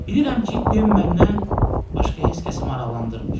Bilirəm ki, Den məndən başqa heç kəsi maraqlandırmır.